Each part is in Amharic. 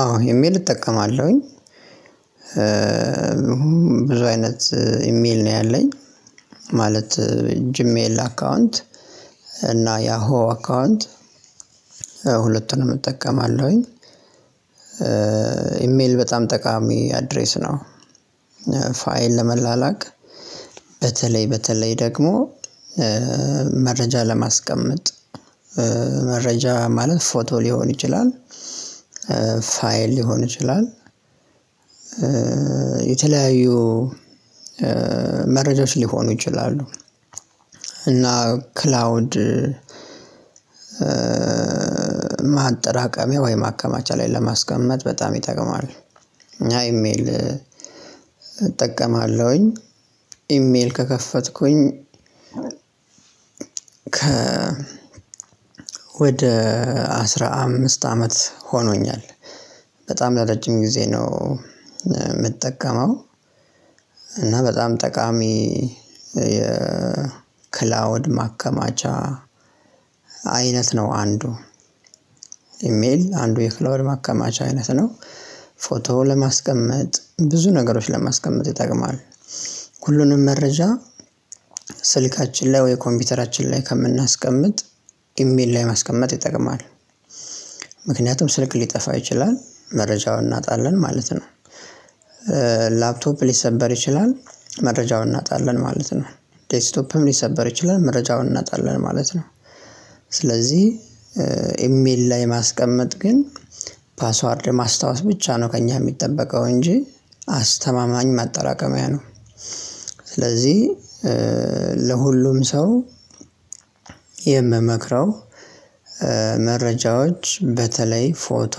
አዎ ኢሜል እጠቀማለሁኝ እሁን ብዙ አይነት ኢሜል ነው ያለኝ ማለት ጂሜል አካውንት እና ያሆ አካውንት ሁለቱንም እጠቀማለሁኝ። ኢሜል በጣም ጠቃሚ አድሬስ ነው። ፋይል ለመላላክ በተለይ በተለይ ደግሞ መረጃ ለማስቀመጥ መረጃ ማለት ፎቶ ሊሆን ይችላል። ፋይል ሊሆን ይችላል። የተለያዩ መረጃዎች ሊሆኑ ይችላሉ። እና ክላውድ ማጠራቀሚያ ወይም ማከማቻ ላይ ለማስቀመጥ በጣም ይጠቅማል። እይሜል እጠቀማለሁኝ ኢሜል ከከፈትኩኝ ከ ወደ አስራ አምስት አመት ሆኖኛል። በጣም ለረጅም ጊዜ ነው የምጠቀመው። እና በጣም ጠቃሚ የክላውድ ማከማቻ አይነት ነው። አንዱ ኢሜል አንዱ የክላውድ ማከማቻ አይነት ነው። ፎቶ ለማስቀመጥ ብዙ ነገሮች ለማስቀመጥ ይጠቅማል። ሁሉንም መረጃ ስልካችን ላይ ወይ ኮምፒውተራችን ላይ ከምናስቀምጥ ኢሜል ላይ ማስቀመጥ ይጠቅማል። ምክንያቱም ስልክ ሊጠፋ ይችላል መረጃውን እናጣለን ማለት ነው። ላፕቶፕ ሊሰበር ይችላል መረጃውን እናጣለን ማለት ነው። ዴይስክቶፕም ሊሰበር ይችላል መረጃውን እናጣለን ማለት ነው። ስለዚህ ኤምኤል ላይ ማስቀመጥ ግን ፓስዋርድ ማስታወስ ብቻ ነው ከእኛ የሚጠበቀው እንጂ አስተማማኝ ማጠራቀሚያ ነው። ስለዚህ ለሁሉም ሰው የምመክረው መረጃዎች በተለይ ፎቶ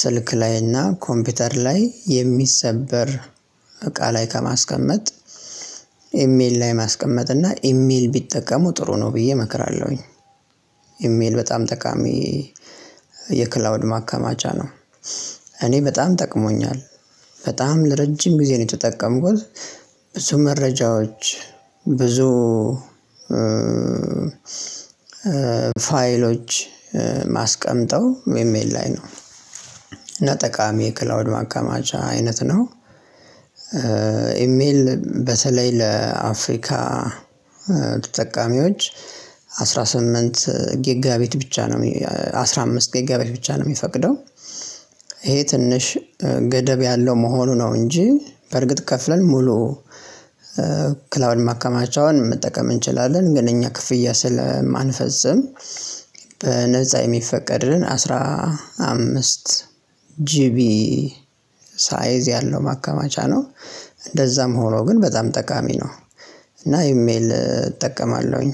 ስልክ ላይና ኮምፒውተር ላይ የሚሰበር እቃ ላይ ከማስቀመጥ ኢሜል ላይ ማስቀመጥ እና ኢሜል ቢጠቀሙ ጥሩ ነው ብዬ እመክራለሁኝ። ኢሜል በጣም ጠቃሚ የክላውድ ማካማቻ ነው። እኔ በጣም ጠቅሞኛል በጣም ለረጅም ጊዜ ነው የተጠቀምኩት። ብዙ መረጃዎች ብዙ ፋይሎች ማስቀመጠው ኤሜል ላይ ነው እና ጠቃሚ የክላውድ ማከማቻ አይነት ነው። ኤሜል በተለይ ለአፍሪካ ተጠቃሚዎች አስራ ስምንት ጌጋ ቤት ብቻ ነው አስራ አምስት ጌጋ ቤት ብቻ ነው የሚፈቅደው። ይሄ ትንሽ ገደብ ያለው መሆኑ ነው እንጂ በርግጥ ከፍለን ሙሉ ክላውንድ ማከማቻውን መጠቀም እንችላለን። ግን እኛ ክፍያ ስለማንፈጽም በነፃ የሚፈቀድልን አስራ አምስት ጂቢ ሳይዝ ያለው ማከማቻ ነው። እንደዛም ሆኖ ግን በጣም ጠቃሚ ነው። እና ኢሜል እጠቀማለሁኝ።